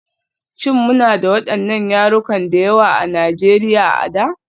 Shin muna da waɗannan yarukan da yawa a Najeriya a da?